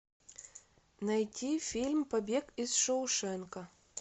найти фильм побег из шоушенка